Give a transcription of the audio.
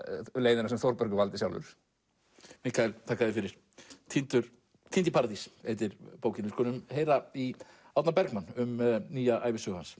leiðina sem Þórbergur valdi sjálfur Mikael þakka þér fyrir týnd týnd í paradís heitir bókin við skulum heyra í Árna Bergmann um nýja ævisögu hans